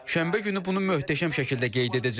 Şənbə günü bunu möhtəşəm şəkildə qeyd edəcəyik.